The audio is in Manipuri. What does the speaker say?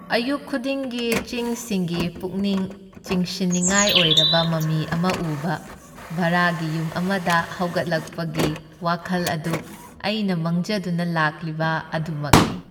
ꯑꯌꯨꯛ ꯈꯨꯗꯤꯡꯒꯤ ꯆꯤꯡꯁꯤꯡꯒꯤ ꯄꯨꯛꯅꯤꯡ ꯆꯤꯡꯁꯤꯟꯅꯤꯡꯉꯥꯏ ꯑꯣꯏꯔꯕ ꯃꯃꯤ ꯑꯃ ꯎꯕ ꯚꯔꯥꯒꯤ ꯌꯨꯝ ꯑꯃꯗ ꯍꯧꯒꯠꯂꯛꯄꯒꯤ ꯋꯥꯈꯜ ꯑꯗꯨ ꯑꯩꯅ ꯃꯪꯖꯗꯨꯅ ꯂꯥꯛꯂꯤꯕ ꯑꯗꯨꯃꯛꯅꯤ꯫